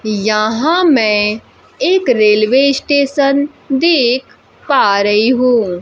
यहां मैं एक रेलवे स्टेशन देख पा रही हूं।